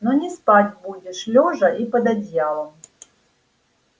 но не спать будешь лёжа и под одеялом